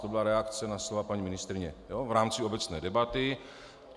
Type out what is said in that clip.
To byla reakce na slova paní ministryně v rámci obecné debaty.